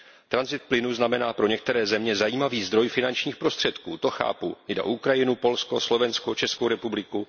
Tranzit plynu znamená pro některé země zajímavý zdroj finačních prostředků, to chápu, jde o Ukrajinu, Polsko, Slovensko, Českou republiku.